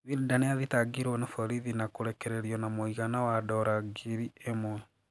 Wilder niathitangirwo na borithi na korekererio na mũgaina wa dora ngiri imwe